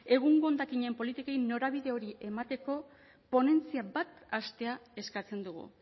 egungo hondakinen politikoei norabide hori emateko ponentzia bat hastea eskatzen dugu